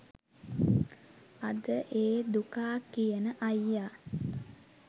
අද ඒ දුකා කියන අයියා